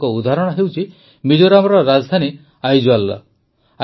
ଏପରି ଏକ ଉଦାହରଣ ହେଉଛି ମିଜୋରାମର ରାଜଧାନୀ ଆଇଜଲର